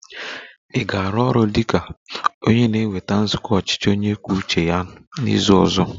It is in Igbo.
Ị ga-arụ ọrụ dị ka onye na-eweta nzukọ ọchịchị onye kwuo uche ya n'izu ọzọ?